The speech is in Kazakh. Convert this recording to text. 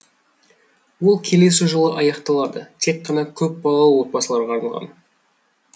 ол келесі жолы аяқталады тек қана көпбалалы отбасыларға арналған